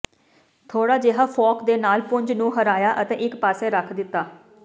ਥੋੜਾ ਜਿਹਾ ਫੋਰਕ ਦੇ ਨਾਲ ਪੁੰਜ ਨੂੰ ਹਰਾਇਆ ਅਤੇ ਇਕ ਪਾਸੇ ਰੱਖ ਦਿੱਤਾ